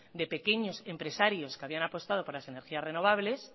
de pequeños empresarios que habían apostado por las energías renovables